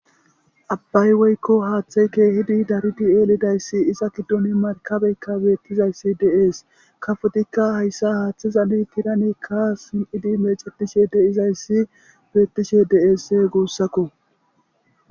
Abbay woykko haaththey keehidi darudi eelidayssi isa giddon markabeykka beettizayssi deees kafotikka hayssa haaththizali tiranekka sin'idi mecatishe deizayssi bettishe deeese guussakko